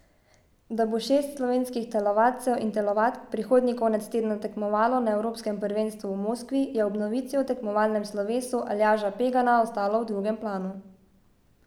Da bo šest slovenskih telovadcev in telovadk prihodnji konec tedna tekmovalo na evropskem prvenstvu v Moskvi, je ob novici o tekmovalnem slovesu Aljaža Pegana ostalo v drugem planu.